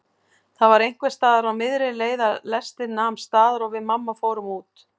Það var einhversstaðar á miðri leið að lestin nam staðar og við mamma fórum út.